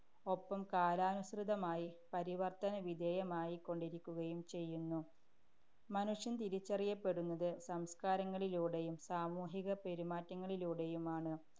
ഒപ്പം, കാലാനുസൃതമായി പരിവര്‍ത്തനവിധേയമായിക്കൊണ്ടിരിക്കുകയും ചെയ്യുന്നു. മനുഷ്യന്‍ തിരിച്ചറിയപ്പെടുന്നത് സംസ്കാരങ്ങളിലൂടെയും സാമൂഹിക പെരുമാറ്റങ്ങളിലൂടെയുമാണ്.